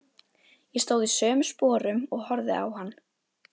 Ég stóð í sömu sporum og horfði á hann.